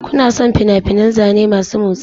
Kuna son fina-finan zane masu motsi?